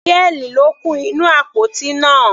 Pearl ló kún inú àpótí náà.